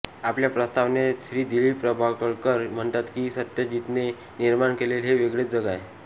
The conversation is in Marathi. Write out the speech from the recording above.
आपल्या प्रस्तावनेत श्री दिलीप प्रभावळकर म्हणतात की सत्यजितने निर्माण केलेले हे वेगळेच जग आहे